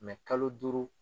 kalo duuru